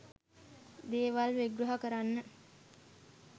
දේවල් විග්‍රහ කරන්න